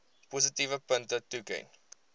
positiewe punte toeken